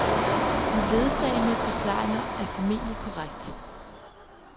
De ledsagende forklaringer er formentlig korrekt.